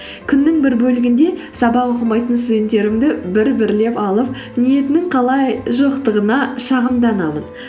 күннің бір бөлігінде сабақ оқымайтын студенттерімді бір бірлеп алып ниетінің қалай жоқтығына шағымданамын